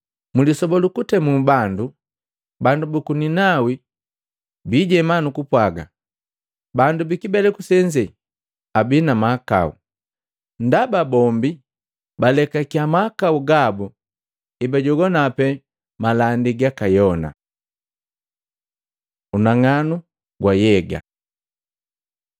Mulisoba lu kutemu bandu, bandu buku Ninawi bijema nukupwaga bandu bikibeleku senze abii na mahakau, ndaba bombi balekakiya mahakau gabu hebajogwana pee malandi gaka Yona. Unang'anu gwa nhyega Matei 5:15; 6:22-23